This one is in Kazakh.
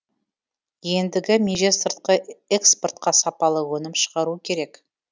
ендігі меже сыртқы экспортқа сапалы өнім шығару керек